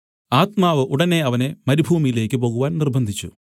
ആത്മാവ് ഉടനെ അവനെ മരുഭൂമിയിലേക്ക് പോകുവാൻ നിര്‍ബ്ബന്ധിച്ചു